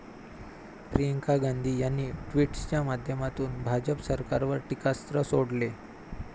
प्रियंका गांधी यांनी ट्विटच्या माध्यमातून भाजप सरकारवर टीकास्त्र सोडले.